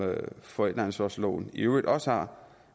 forældreansvarsloven i øvrigt også har